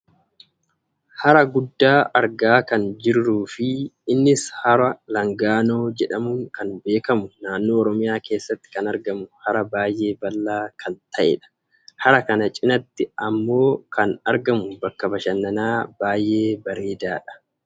hara guddaa argaa kan jirruufi innis hara Laangaannoo jedhamuun kan beekkamu naannoo oromiyaa keessatti kan argamu hara baayyee bal'aa kan ta'edha. hara kana cinaatti ammoo kan argamu bakka bashananaa baayyee bareedhaadha.